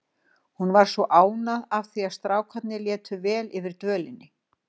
Hún var svo ánægð af því að strákarnir létu vel yfir dvölinni.